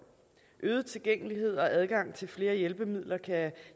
øget tilgængelighed og adgang til flere hjælpemidler kan